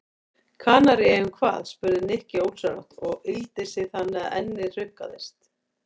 Kanaríeyjum hvað? spurði Nikki ósjálfrátt og yggldi sig þannig að ennið hrukkaðist.